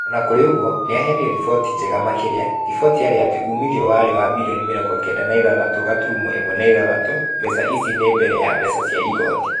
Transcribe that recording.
O na kũrĩ ũguo, nĩ yaheanire riboti njega makĩria. Riboti yarĩ atĩ uuumithio warĩ wa birioni mĩrongo kenda na ithathatũ gaturumo ĩmwe na ithathatũ. Mbeca ici ni mbere ya mbeca cia igooti.